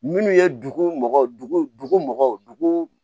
Minnu ye dugu mɔgɔ